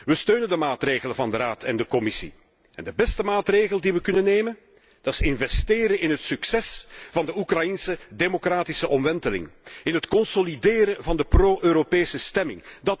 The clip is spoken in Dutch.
We steunen de maatregelen van de Raad en de Commissie. De beste maatregel die we kunnen nemen, is investeren in het succes van de Oekraïense democratische omwenteling. In het consolideren van de pro Europese stemming.